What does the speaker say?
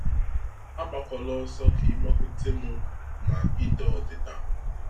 Agbakwala ọsọ ka ịgbakwute mụ ma ida odịda.